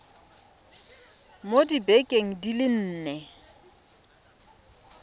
mo dibekeng di le nne